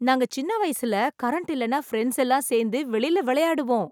நாங்க சின்ன வயசுல கரண்ட் இல்லனா பிரெண்ட்ஸ் எல்லாம் சேர்ந்து வெளில விளையாடுவோம்.